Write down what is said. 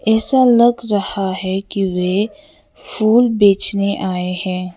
ऐसा लग रहा है कि वे फूल बेचने आए हैं।